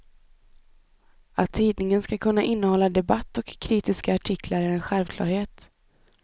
Att tidningen ska kunna innehålla debatt och kritiska artiklar är en självklarhet.